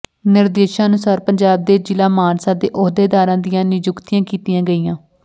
ਨਿਰਦੇਸ਼ਾਂ ਅਨੁਸਾਰ ਪੰਜਾਬ ਦੇ ਜਿਲ੍ਹਾ ਮਾਨਸਾ ਦੇ ਅਹੁੱਦੇਦਾਰਾਂ ਦੀਆਂ ਨਿਯੁੱਕਤੀਆਂ ਕੀਤੀਆਂ ਗਈਆਂ